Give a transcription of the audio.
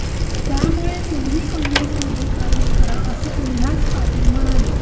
त्यामुळे तुम्ही काँग्रेसमध्ये प्रवेश करा असे उल्हास पाटील म्हणाले